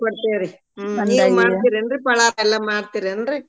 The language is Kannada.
ಕೊಡ್ತೇವ್ರಿ ಪಳಾರ್ ಎಲ್ಲ ಮಾಡ್ತೀರೇನ್ರಿ.